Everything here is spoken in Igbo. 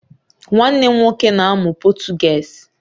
Nwanne m nwoke na-amụ Potugeez